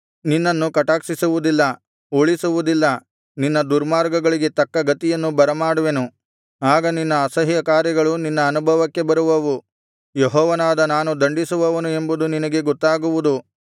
ನಿನ್ನನ್ನು ಕಟಾಕ್ಷಿಸುವುದಿಲ್ಲ ಉಳಿಸುವುದಿಲ್ಲ ನಿನ್ನ ದುರ್ಮಾರ್ಗಗಳಿಗೆ ತಕ್ಕ ಗತಿಯನ್ನು ಬರಮಾಡುವೆನು ಆಗ ನಿನ್ನ ಅಸಹ್ಯಕಾರ್ಯಗಳು ನಿನ್ನ ಅನುಭವಕ್ಕೆ ಬರುವವು ಯೆಹೋವನಾದ ನಾನು ದಂಡಿಸುವವನು ಎಂಬುದು ನಿನಗೆ ಗೊತ್ತಾಗುವುದು